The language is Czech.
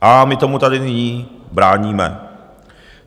A my tady tomu nyní bráníme.